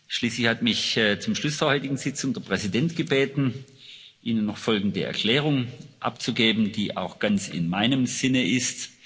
Schließlich hat mich zum Schluß der heutigen Sitzung der Präsident gebeten, Ihnen noch folgende Erklärung abzugeben, die auch ganz in meinem Sinne ist.